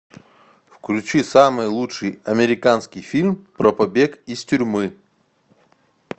включи самый лучший американский фильм про побег из тюрьмы